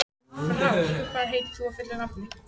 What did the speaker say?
Frár, hvað heitir þú fullu nafni?